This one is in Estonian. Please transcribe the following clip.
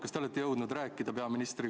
Kas te olete jõudnud peaministriga rääkida?